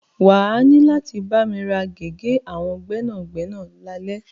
Wà á ní láti bámi ra gègé àwọn gbẹ́nàgbẹ́nà lálẹ́.